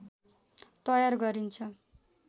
तयार गरिन्छ